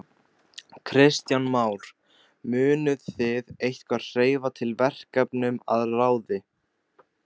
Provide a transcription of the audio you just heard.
Kristján Már: Munuð þið eitthvað hreyfa til verkefnum að ráði?